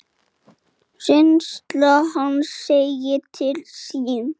Þótti mörgum sem Indriði í